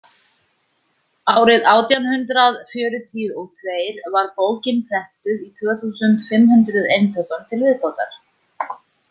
Árið átján hundrað fjörutíu og tveir var bókin prentuð í tvö þúsund fimm hundruð eintökum til viðbótar.